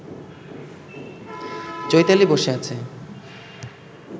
চৈতালি বসে আছে